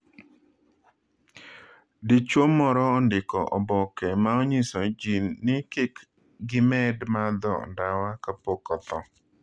Dichuo moro ondiko oboke ma onyiso ji ni kik gimed madho ndawa kapok otho